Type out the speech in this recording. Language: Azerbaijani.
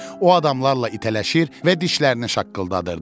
O adamlarla itələşir və dişlərini şaqqıldadırdı.